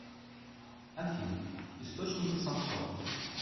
афина источники самсон